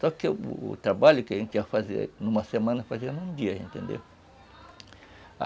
Só que o trabalho que a gente ia fazer numa semana, fazia num dia, entendeu?